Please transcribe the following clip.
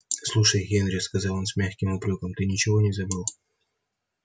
слушай генри сказал он с мягким упрёком ты ничего не забыл